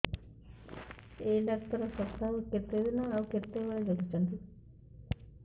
ଏଇ ଡ଼ାକ୍ତର ସପ୍ତାହକୁ କେତେଦିନ ଆଉ କେତେବେଳେ ଦେଖୁଛନ୍ତି